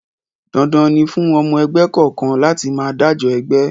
Dandan ni fún ọmọ ẹgbẹ́ kọ̀ọ̀kan láti máa dájọ ẹgbẹ́!